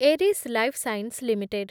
Eris lifesciences limited